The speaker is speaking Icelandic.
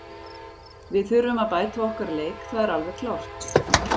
Við þurfum að bæta okkar leik, það er alveg klárt.